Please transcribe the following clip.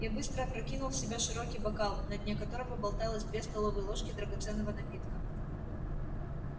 я быстро опрокинул в себя широкий бокал на дне которого болталось две столовые ложки драгоценного напитка